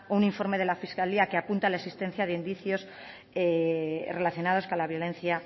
un informe de la fiscalía que apunte a la existencia de indicios relacionados con la violencia